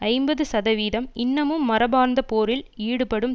ஐம்பது சதவிதம் இன்னமும் மரபார்ந்த போரில் ஈடுபடும்